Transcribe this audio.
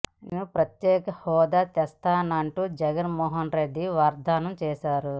నేను ప్రత్యేక హోదా తెస్తానంటూ జగన్ మోహన్ రెడ్డి వాగ్దానం చేశారు